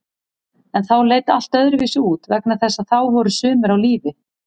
En þá leit allt öðruvísi út vegna þess að þá voru sumir á lífi.